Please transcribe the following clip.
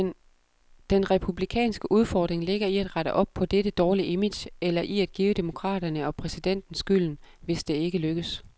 Den republikanske udfordring ligger i at rette op på dette dårlige image, eller i at give demokraterne og præsidenten skylden, hvis det ikke lykkes.